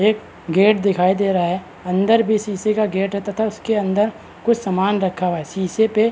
एक गेट दिखाई दे रहा है अंदर भी शीशे का गेट है तथा उसके अंदर कुछ सामान रखा हुआ है तथा शीशे पे --